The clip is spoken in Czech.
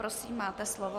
Prosím, máte slovo.